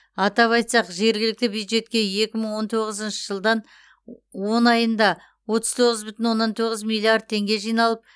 атап айтсақ жергілікті бюджетке екі мың он тоғызыншы жылдан он айында отыз тоғыз бүтін оннан тоғыз миллиард теңге жиналып